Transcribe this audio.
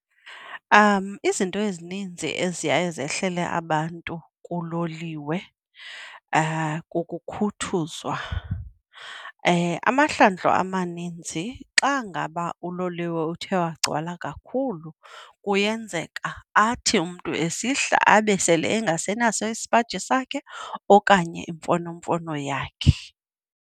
Izinto ezininzi eziye zehlele abantu kuloliwe kukhuthuzwa. Amahlandlo amaninzi xa ngaba uloliwe uthe wagcwala kakhulu kuyenzeka athi umntu esihla abe sele engasenaso isipaji sakhe okanye imfonomfono yakhe.